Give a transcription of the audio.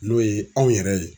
N'o ye anw yɛrɛ ye.